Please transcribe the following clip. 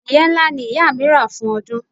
Adìẹ ńlá ni ìyá mi rà fún ọdún.